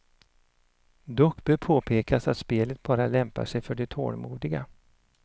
Dock bör påpekas att spelet bara lämpar sig för de tålmodiga.